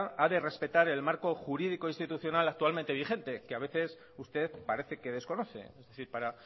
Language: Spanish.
ha de respetar el marco jurídico constitucional actualmente vigente que a veces usted parece que desconoce es decir para